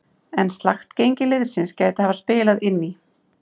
En slakt gengi liðsins gæti hafa spilað inn í.